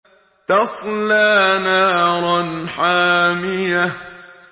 تَصْلَىٰ نَارًا حَامِيَةً